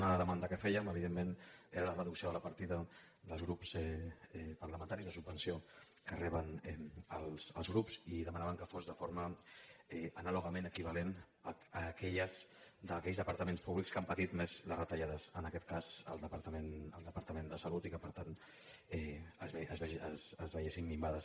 una demanda que fèiem evidentment era la reducció de la partida dels grups parlamentaris la subvenció que reben els grups i demanàvem que fos de forma anàlogament equivalent a aquelles d’aquells departament públics que han patit més les retallades en aquest cas el departament de salut i que per tant es veiessin minvades